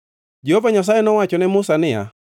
Jehova Nyasaye nowacho ne Musa niya: